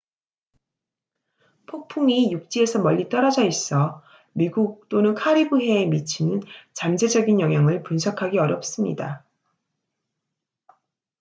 폭풍이 육지에서 멀리 떨어져 있어 미국 또는 카리브해에 미치는 잠재적인 영향을 분석하기 어렵습니다